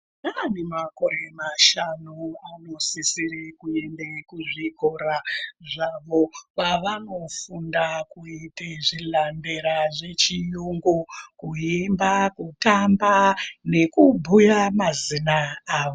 Naane makore mashanu anosisira kuenda kuzvikora zvavo kwavanofunda kuita zvilambera zvechiyungu kuimba kutamba nekubhuya mazina avo.